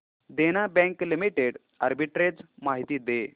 देना bank limited arbitrage माहिती दे